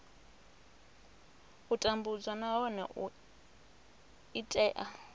u tambudzwa nahone i tea